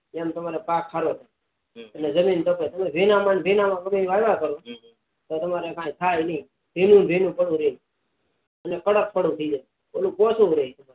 એમ તમારો પાક સારો થાય એટલે જમીન તાપે તમે ભીના ભીના માં જ વવાયા કરો તો તમારે કઈ થાય નહી ભીનું ભીનું જ પડ્યું રે એટલે કડક થઇ જાય ઓલું ઓછુ રે